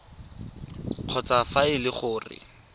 kgotsa fa e le gore